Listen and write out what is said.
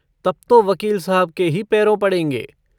तब तो वकील साहब के ही पैरों पड़ेंगे।